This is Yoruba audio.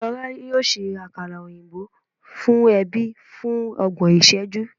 Lọla yoo ṣe akara oyinbo fun ẹbi fun ọgbọn iṣẹju